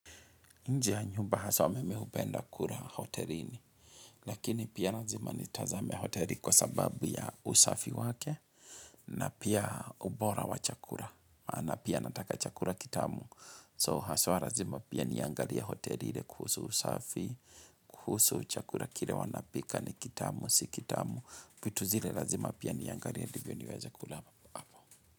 Nje ya nyumba haswa mimi hupenda kula hotelini, lakini pia lazima nitazame hoteli kwa sababu ya usafi wake, na pia ubora wa chakula, maana pia nataka chakula kitamu. So haswa lazima pia niangalie pia hoteli kuhusu usafi, kuhusu chakula kile wanapika ni kitamu, si kitamu, vitu zile lazima pia niangalie ndivyo niweze kula hapo.